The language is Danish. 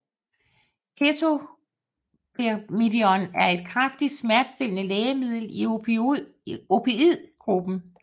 Ketobemidon er et kraftigt smertestillende lægemiddel i opioid gruppen